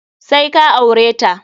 Sai ka aure ta!